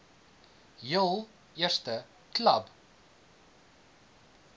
heel eerste klub